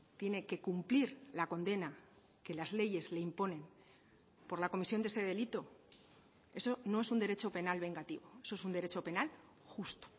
tiene que cumplir la condena que las leyes le imponen por la comisión de ese delito eso no es un derecho penal vengativo eso es un derecho penal justo